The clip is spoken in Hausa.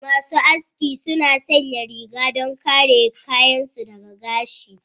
Masu aski suna sanya rigar don kare kayan su daga gashi.